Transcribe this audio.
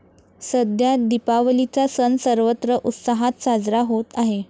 सध्या दीपावलीचा सण सर्वत्र उत्साहात साजरा होत आहे.